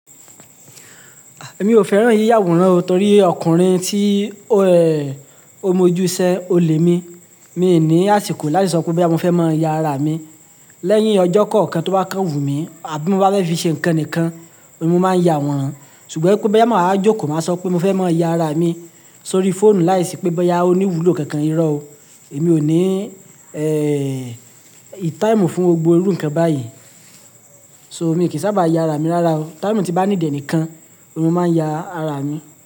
Ah! Èmi ò fẹ́ràn yíya àwòrán o torí ọkùnrin tí ó rẹ̀, ó mójú sẹ olè mi. Mi ní àsìkò láti sọ pé boya mó fẹ́ mọ ya ara mi. Lẹ́yìn ọjọ́ kọ̀ọ̀kan tó bá kán wù mí, àbí mó bá fẹ́ fi ṣe ǹkan nìkan, mo máa ń ya àwòrán. Ṣùgbọ́n pé boya máa jókòó, máa sọ pé mó fẹ́ mọ ya ara mi sórí fóònù láì sì pé bẹ́ ya òní wùlò kankan irọ́ o. Èmi ò ní, ẹ́, ime fún gbogbo irú ǹkan báyì So, mi kì sábà ya ara mi rárá o. Time tí bá need e nìkan, mo máa ń ya ara mi.